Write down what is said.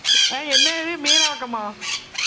ஆஹ் என்னது மீனவாக்கம்மா?